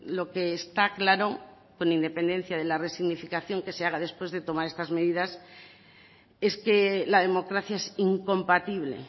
lo que está claro con independencia de la resignificación que se haga después de tomar estas medidas es que la democracia es incompatible